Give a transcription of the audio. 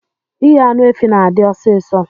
Ighe anụ efi na adi ọsis